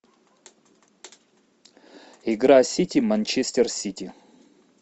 игра сити манчестер сити